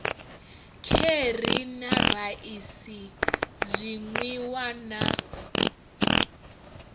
kheri na raisi zwinwiwa na